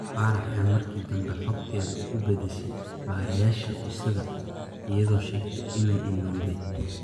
Faarax ayaa markii dambe xogteeda u beddeshay baarayaasha Usada, iyadoo sheegtay inay illowday.